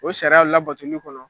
O sariyaw labatoli kɔnɔ.